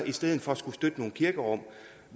i stedet for skulle støtte nogle kirkerum